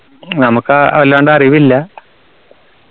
നമുക്ക് അഹ് അല്ലാണ്ട് അറിവില്ല